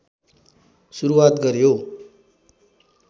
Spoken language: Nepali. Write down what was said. सुरुवात गर्‍यो